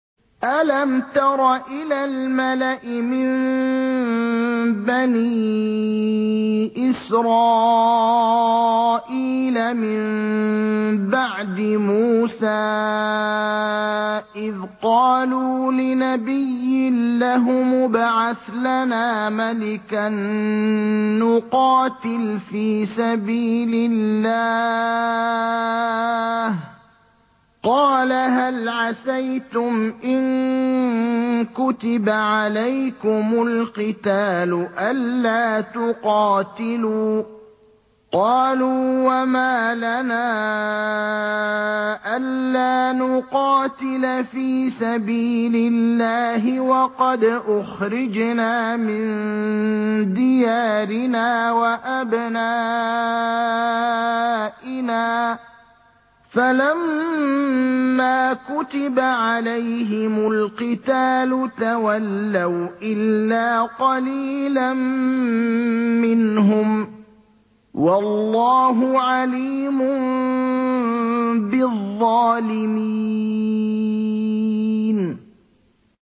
أَلَمْ تَرَ إِلَى الْمَلَإِ مِن بَنِي إِسْرَائِيلَ مِن بَعْدِ مُوسَىٰ إِذْ قَالُوا لِنَبِيٍّ لَّهُمُ ابْعَثْ لَنَا مَلِكًا نُّقَاتِلْ فِي سَبِيلِ اللَّهِ ۖ قَالَ هَلْ عَسَيْتُمْ إِن كُتِبَ عَلَيْكُمُ الْقِتَالُ أَلَّا تُقَاتِلُوا ۖ قَالُوا وَمَا لَنَا أَلَّا نُقَاتِلَ فِي سَبِيلِ اللَّهِ وَقَدْ أُخْرِجْنَا مِن دِيَارِنَا وَأَبْنَائِنَا ۖ فَلَمَّا كُتِبَ عَلَيْهِمُ الْقِتَالُ تَوَلَّوْا إِلَّا قَلِيلًا مِّنْهُمْ ۗ وَاللَّهُ عَلِيمٌ بِالظَّالِمِينَ